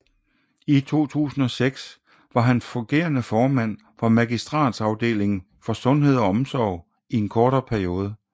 I 2006 var har fungerende rådmand for Magistratsafdelingen for Sundhed og Omsorg i en kort periode